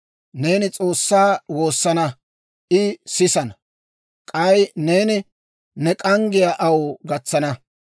Neeni S'oossaa woosana; I sisana; k'ay neeni ne k'anggiyaa aw gatsana.